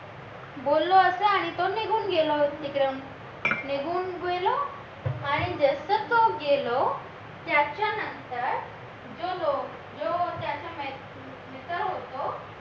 बोललो असं आणि तो निघून गेला तिथून निघून गेला आणि जसं तो गेलो त्याच्यानंतर जो त्याचा मित्र होतो